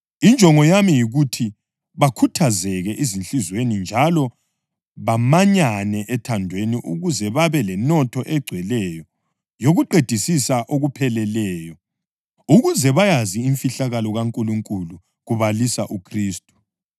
Injongo yami yikuthi bakhuthazeke ezinhliziyweni njalo bamanyane ethandweni ukuze babe lenotho egcweleyo yokuqedisisa okupheleleyo, ukuze bayazi imfihlakalo kaNkulunkulu kubalisa uKhristu,